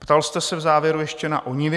Ptal jste se v závěru ještě na ONIVy.